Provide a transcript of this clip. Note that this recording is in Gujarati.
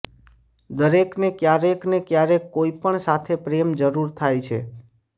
દરેકને ક્યારેક ને ક્યારેક કોઈપણ સાથે પ્રેમ જરૂર થાય છે